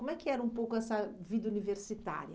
Como é que era um pouco essa vida universitária?